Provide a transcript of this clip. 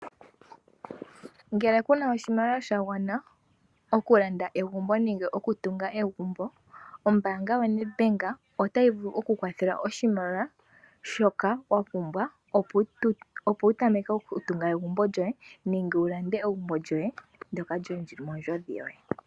Ngele ku na oshimaliwa sha gwana oku landa egumbo nenge oku tunga egumbo, ombaanga yoNedBank otayi vulu oku kwathela oshimaliwa shoka wa pumbwa opo wu tameke oku tunga egumbo lyoye nenge wu lande egumbo lyoye ndoka lyili mondjodhi yoye.